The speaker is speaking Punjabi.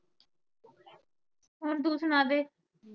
ਹੁਣ ਤੂੰ ਸੁਣਾ ਦੇ